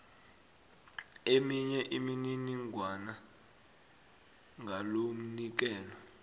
eminye imininingwana ngalomnikelo